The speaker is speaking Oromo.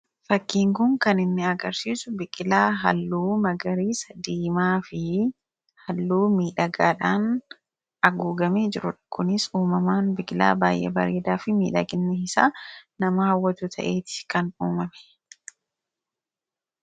fakkiin kuun kan inni agarsiisu biqilaa halluu magariisa diimaa fi halluu miidhagaadhaan aguugamee jirudha.. kunis uumamaan biqilaa baay'ee bareedaa fi miidhaganni isaa nama hawwatu ta'eeti kan uumame.